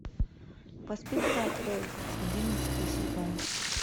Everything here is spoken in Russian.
воспитывая хоуп одиннадцатый сезон